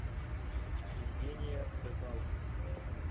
евгения рыбалко